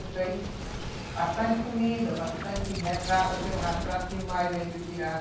bastante comida, bastante retrato, eu tenho retrato demais aí que tiraram.